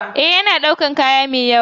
Ee, yana ɗaukar kaya mai yawa.